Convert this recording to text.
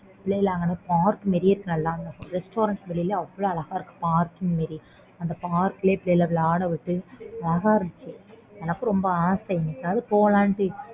பிள்ளைகளை அங்க park வெளிய restaurant வெளிய அவ்ளோ அழகா இருக்கு park மாதிரி அந்த park லேயே பிள்ளைகளை விளையாட விட்டு அழகா இருந்துச்சு எனக்கும் ரொம்ப ஆசை என்னைக்காவது போலாம்